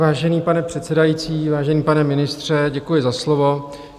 Vážený pane předsedající, vážený pane ministře, děkuji za slovo.